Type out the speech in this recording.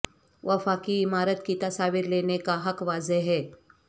وفاقی عمارت کی تصاویر لینے کا حق واضح ہے